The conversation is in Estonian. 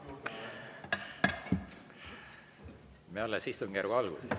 Me alles istungjärgu alguses.